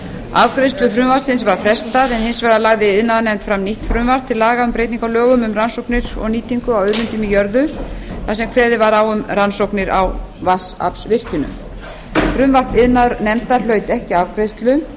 afgreiðslu frumvarpsins var frestað en hins vegar lagði iðnaðarnefnd fram nýtt frumvarp til laga um breytingu á lögum um rannsóknir og nýtingu á auðlindum í jörðu þar sem kveðið var á um rannsóknir á vatnsaflsvirkjunum frumvarp iðnaðarnefndar hlaut ekki afgreiðslu